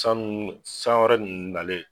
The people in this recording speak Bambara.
Sanu san wɛrɛ ninnu nalen